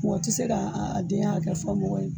Mɔgɔ tɛ se k'a a denya hakɛ fɔ mɔgɔ ye